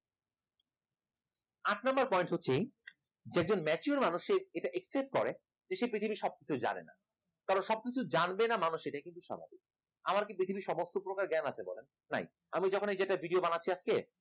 আট number point হচ্ছে দেখবেন mature মানুষই এটা accept করে সে পৃথিবীর সবকিছু জানে না। কারণ সবকিছু জানবে না মানুষ সেটাই কিন্তু স্বাভাবিক আমার কি পৃথিবীর সমস্ত প্রকার জ্ঞান আসে নাই আমি যখন এইটা video টা বানাচ্ছি আজকে